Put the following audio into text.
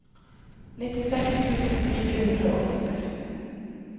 nittiseks tusen fire hundre og åttiseks